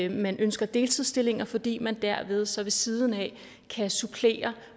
man ønsker deltidsstillinger fordi man derved så ved siden af kan supplere